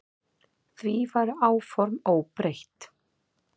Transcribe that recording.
Því væru áform óbreytt.